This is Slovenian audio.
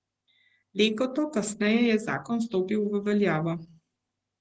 Leto kasneje je zakon stopil v veljavo.